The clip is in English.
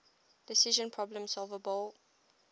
decision problems solvable